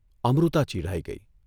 અમૃતા ચિઢાઇ ગઇ.